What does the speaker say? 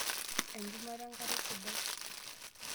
Enchumata enkare sidai.